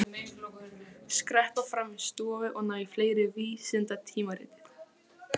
Skreppa fram í stofu og ná í fleiri vísindatímarit.